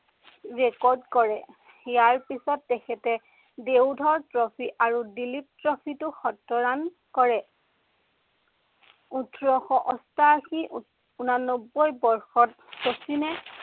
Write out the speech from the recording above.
record কৰে। ইয়য়াৰ পিছত তেখেতে দেউধৰ ট্ৰফী আৰু দিলীপ ট্ৰফীটো শত run কৰে। ওঠৰশ অষ্টাশী, উনান্নব্বৈ বৰ্ষত শচীনে